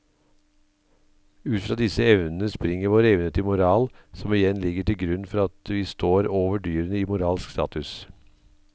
Ut fra disse evnene springer vår evne til moral som igjen ligger til grunn for at vi står over dyrene i moralsk status.